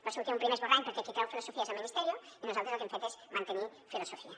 va sortir un primer esborrany perquè qui treu filosofia és el ministerio i nosaltres el que hem fet és mantenir filosofia